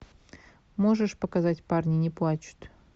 можешь показать парни не плачут